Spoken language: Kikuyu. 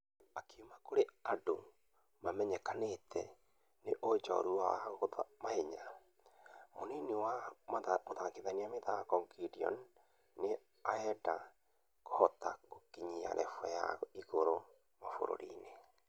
Akiuma kũrĩ andũ mamenyekete nĩ ũjũrua wao gwa mahenya , munini wa mũthakithia mĩthako Gideon nĩarenda kũhota gũkinya revel ya igũrũ mũbĩra-inĩ